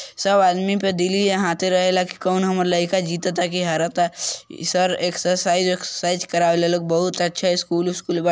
सब आदमी पे देली यहाँ आते रहेला क-कौन हमर लड़का जीतता की हारता | ई सर एक्सर्साइज़ - उकसरसाइज़ करावेला ई लोग बहुत अच्छा स्कूल - उसकूल बा ।